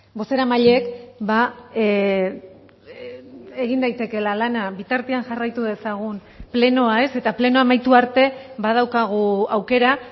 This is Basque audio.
bozeramaileek egin daitekeela lana bitartean jarraitu dezagun plenoa ez eta plenoa amaitu arte badaukagu aukera